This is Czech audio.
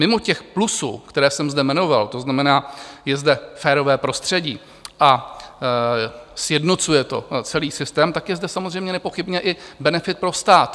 Mimo těch plusů, které jsem zde jmenoval, to znamená, je zde férové prostředí a sjednocuje to celý systém, tak je zde samozřejmě nepochybně i benefit pro stát.